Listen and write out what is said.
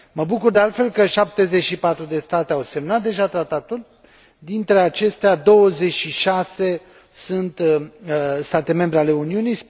Mă bucur, de altfel, că 74 de state au semnat deja tratatul, dintre acestea 26 sunt state membre ale Uniunii